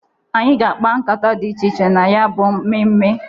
Anyị ga-akpa nkata dị iche iche na ya bụ mmemme.